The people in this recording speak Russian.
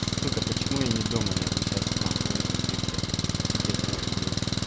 сука почему я не дома я бы сейчас нахуй этот епта стикер запилил